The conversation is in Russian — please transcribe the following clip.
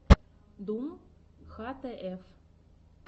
дум хтф